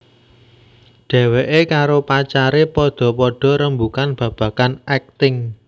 Dheweké karo pacaré padha padha rembugan babagan akting